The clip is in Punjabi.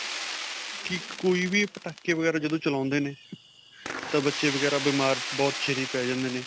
ਕਿ ਕੋਈ ਵੀ ਪਟਾਕੇ ਵਗੈਰਾ ਜਦੋਂ ਚਲਾਉਂਦੇ ਨੇ ਤਾਂ ਬੱਚੇ ਵਗੈਰਾ ਬੀਮਾਰ ਬਹੁਤ ਛੇਤੀ ਪੈ ਜਾਂਦੇ ਨੇ.